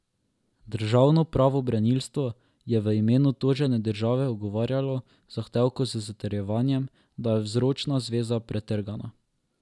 Državno pravobranilstvo je v imenu tožene države ugovarjalo zahtevku z zatrjevanjem, da je vzročna zveza pretrgana.